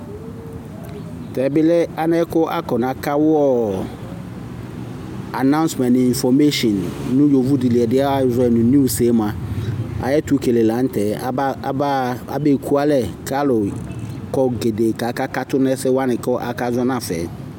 tɛ bi lɛ anɛ k'akɔna ka wu ɔ anausmɛnt n'infɔmeshin no yovo di li ɛdiɛ azɔ yi mo niws yɛ moa ayi ɛto kele lantɛ aba aba ebe ku alɛ k'alò kɔ gɛdɛ k'aka katu n'ɛsɛ wani k'aka zɔ nafa yɛ.